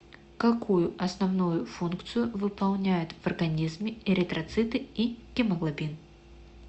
какую основную функцию выполняют в организме эритроциты и гемоглобин